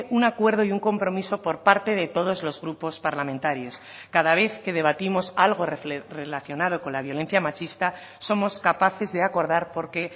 un acuerdo y un compromiso por parte de todos los grupos parlamentarios cada vez que debatimos algo relacionado con la violencia machista somos capaces de acordar porque